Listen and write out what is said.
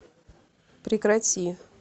прекрати